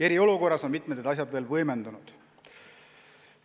Eriolukorras on mitmed asjad veel võimendunud.